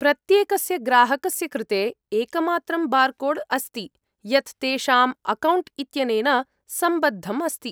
प्रत्येकस्य ग्राहकस्य कृते एकमात्रं बार्कोड् अस्ति यत् तेषाम् अकौण्ट् इत्यनेन सम्बद्धम् अस्ति।